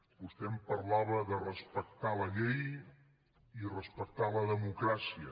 vostè em parlava de respectar la llei i respectar la democràcia